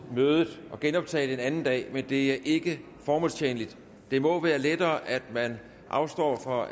mødet og genoptage det en anden dag men det er ikke formålstjenligt det må være lettere at man afstår fra